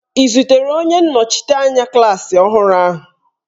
Ị zutere onye nnọchiteanya klaasị ọhụrụ ahụ?